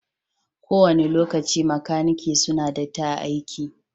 Ko wani lokaci makanaki suna datti a'aiki.